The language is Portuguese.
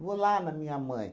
Vou lá na minha mãe.